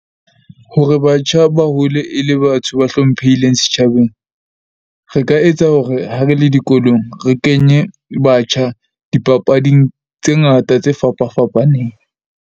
Hore batjha ba hole e le batho ba hlomphehileng setjhabeng, re ka etsa hore ha re le dikolong re kenye batjha dipapading tse ngata tse fapa fapaneng.